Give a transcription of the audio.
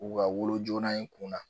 U ka wolo joona in kunna